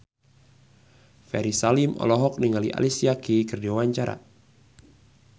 Ferry Salim olohok ningali Alicia Keys keur diwawancara